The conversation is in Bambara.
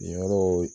Yen yɔrɔw